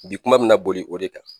Bi kuma bɛna boli o de kan